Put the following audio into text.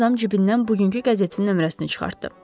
Yad adam cibindən bugünkü qəzetin nömrəsini çıxartdı.